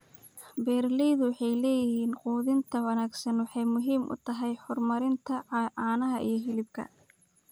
Beeralaydu waxay yiraahdeen quudinta wanaagsani waxay muhiim u tahay horumarinta caanaha iyo hilibka.